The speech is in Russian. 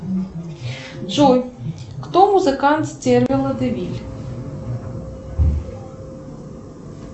джой кто музыкант стервелла де виль